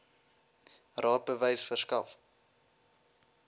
raad bewys verskaf